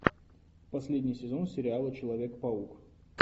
последний сезон сериала человек паук